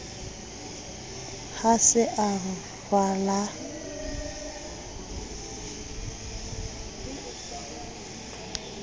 ha se a ralwa ka